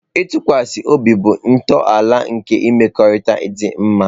Ntụkwasị obi bụ ntọala nke mmekọrịta dị mma.